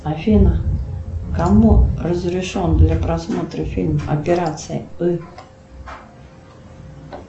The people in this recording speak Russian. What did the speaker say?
афина кому разрешен для просмотра фильм операция ы